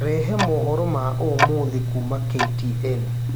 rehe mohoro maũmũthĩ kũma k.t.n